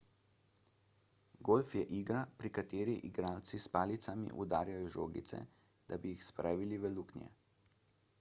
golf je igra pri kateri igralci s palicami udarjajo žogice da bi jih spravili v luknje